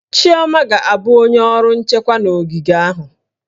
Chioma ga-abụ onye ọrụ nchekwa na ogige ahụ